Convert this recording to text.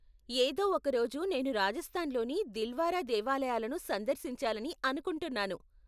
ఏదో ఒక రోజు నేను రాజస్థాన్ లోని దిల్వారా దేవాలయాలను సందర్శించాలని అనుకుంటున్నాను.